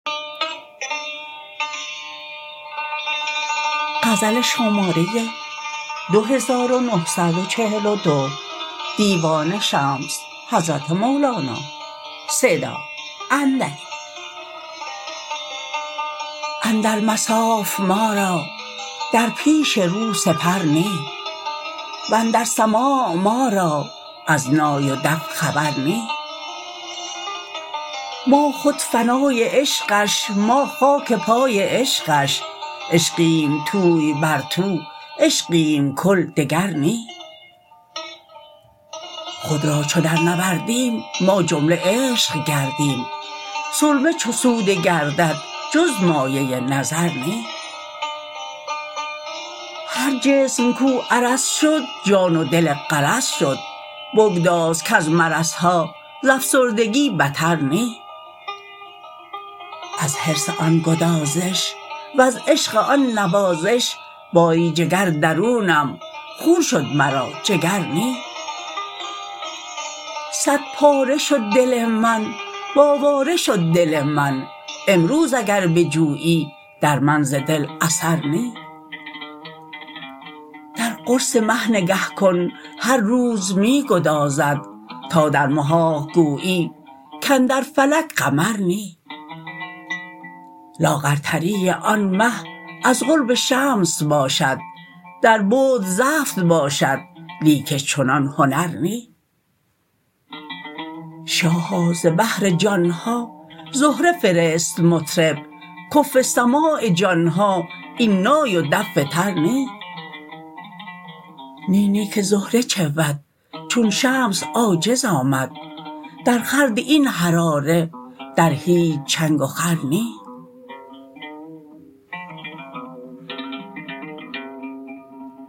اندر مصاف ما را در پیش رو سپر نی و اندر سماع ما را از نای و دف خبر نی ما خود فنای عشقش ما خاک پای عشقش عشقیم توی بر تو عشقیم کل دگر نی خود را چو درنوردیم ما جمله عشق گردیم سرمه چو سوده گردد جز مایه نظر نی هر جسم کو عرض شد جان و دل غرض شد بگداز کز مرض ها ز افسردگی بتر نی از حرص آن گدازش وز عشق آن نوازش باری جگر درونم خون شد مرا جگر نی صدپاره شد دل من و آواره شد دل من امروز اگر بجویی در من ز دل اثر نی در قرص مه نگه کن هر روز می گدازد تا در محاق گویی کاندر فلک قمر نی لاغرتری آن مه از قرب شمس باشد در بعد زفت باشد لیکن چنان هنر نی شاها ز بهر جان ها زهره فرست مطرب کفو سماع جان ها این نای و دف تر نی نی نی که زهره چه بود چون شمس عاجز آمد درخورد این حراره در هیچ چنگ و خور نی